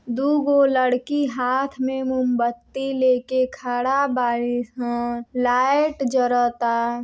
दू गो लड़की हाँथ मे मोमबत्ती लेके खड़ा बाड़ी सं लाइट जरता |